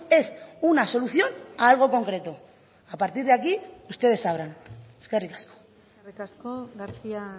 es una solución a algo concreto a partir de aquí ustedes sabrán eskerrik asko eskerrik asko garcía